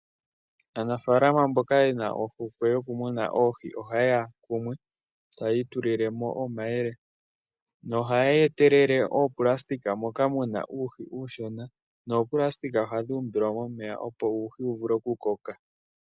Aanafaalama mboka yena ohokwe yokumuna oohi, ohaye ya kumwe, etaya itulilemo omayele . Nohaya etelele oonayilona moka muna uuhi uushona. Noonayilona ohadhi umbilwa momeya opo uuhi mboka uushona wu vule okukoka.